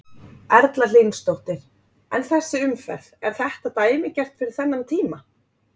Erla Hlynsdóttir: En þessi umferð, er þetta dæmigert fyrir þennan tíma?